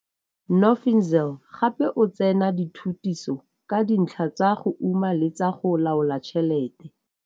Nophinzile gape o tsene dithutiso ka dintlha tsa go uma le tsa go loala tšhelete.